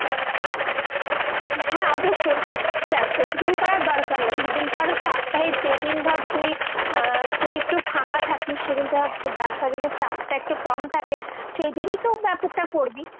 হ্যাঁ, অবশ্যই। দেখ, প্রতিদিন করার দরকার নেই। যেদিন ধর, সপ্তাহে যেদিন ধর তুই আহ তুই একটু ফাঁকা থাকিস, সেদিন ধর তোর ব্যবসায় যদি চাপটা একটু কম থাকে সেইদিনই তো ব্যাপারটা করবি।